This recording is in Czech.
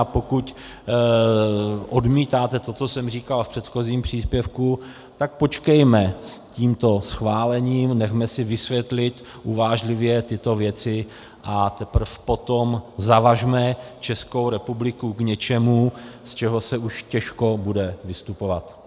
A pokud odmítáte to, co jsem říkal v předchozím příspěvku, tak počkejme s tímto schválením, nechme si vysvětlit uvážlivě tyto věci, a teprve potom zavažme Českou republiku k něčemu, z čehož se už těžko bude vystupovat.